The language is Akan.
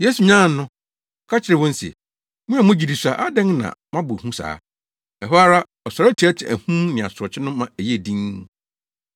Yesu nyanee no, ɔka kyerɛɛ wɔn se, “Mo a mo gyidi sua, adɛn na moabɔ hu saa?” Ɛhɔ ara, ɔsɔre teɛteɛɛ ahum ne asorɔkye no ma ɛyɛɛ dinn.